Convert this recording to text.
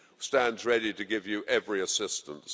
stands ready to give you every assistance.